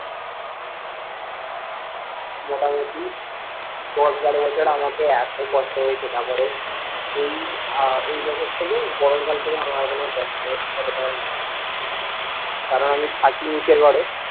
মোটামোটি দশ বারো বছর আমাকে এতো কষ্ট হয়েছে তারপরে এই আহ এই বছর থেকে গরম কাল থেকে আমার আর কোনো কষ্ট হচ্ছে না কারণ আমি থাকি নিচের ঘরে